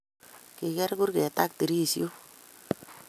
Kiger kurget ak dirishok